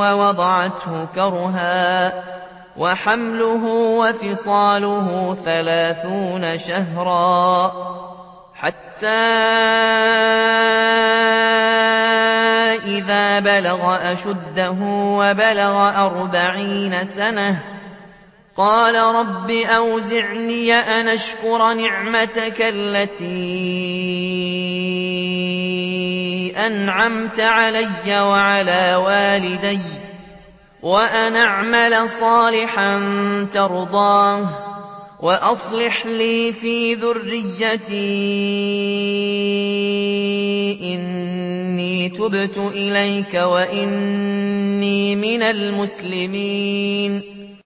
وَوَضَعَتْهُ كُرْهًا ۖ وَحَمْلُهُ وَفِصَالُهُ ثَلَاثُونَ شَهْرًا ۚ حَتَّىٰ إِذَا بَلَغَ أَشُدَّهُ وَبَلَغَ أَرْبَعِينَ سَنَةً قَالَ رَبِّ أَوْزِعْنِي أَنْ أَشْكُرَ نِعْمَتَكَ الَّتِي أَنْعَمْتَ عَلَيَّ وَعَلَىٰ وَالِدَيَّ وَأَنْ أَعْمَلَ صَالِحًا تَرْضَاهُ وَأَصْلِحْ لِي فِي ذُرِّيَّتِي ۖ إِنِّي تُبْتُ إِلَيْكَ وَإِنِّي مِنَ الْمُسْلِمِينَ